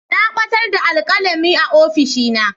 Na batar da alkalami a ofishina.